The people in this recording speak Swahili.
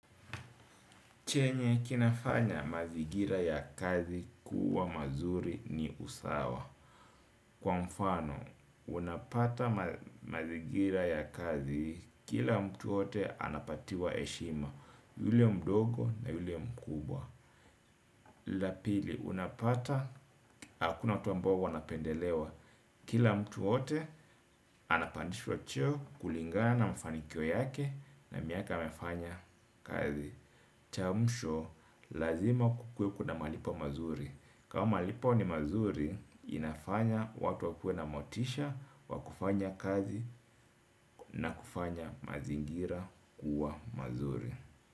Chenye kinafanya mazingira ya kazi kuwa mazuri ni usawa. Kwa mfano, unapata mazingira ya kazi kila mtu ote anapatiwa heshima. Yule mdogo na yule mkubwa. Lila pili, unapata, hakuna watu ambao wanapendelewa. Kila mtu ote, anapandishwa cheo kulingana na mfanikio yake na miaka amefanya kazi. Cha mwisho, lazima kukuwe kuna malipo mazuri. Kama malipo ni mazuri, inafanya watu wakuwe na motisha wa kufanya kazi, na kufanya mazingira kuwa mazuri.